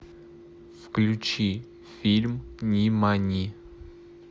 включи фильм нимани